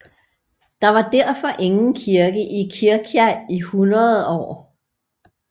Der var derfor ingen kirke i Kirkja i 100 år